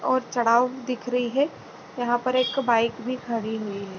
और चढ़ाव दिख रही है यहां पर एक बाइक भी खड़ी हुई है।